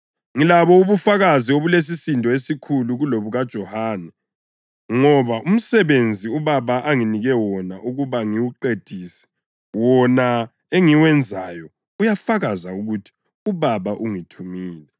Ngilabo ubufakazi obulesisindo esikhulu kulobukaJohane. Ngoba umsebenzi uBaba anginike wona ukuba ngiwuqedise, wona engiwenzayo uyafakaza ukuthi uBaba ungithumile.